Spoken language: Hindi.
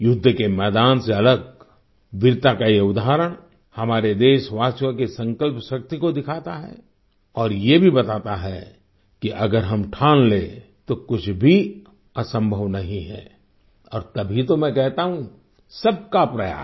युद्ध के मैदान से अलग वीरता का ये उदाहरण हमारे देशवासियों की संकल्प शक्ति को दिखाता है और ये भी बताता है कि अगर हम ठान लें तो कुछ भी असंभव नहीं है और तब ही तो मैं कहता हूँ सबका प्रयास